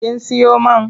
Kin siyo man?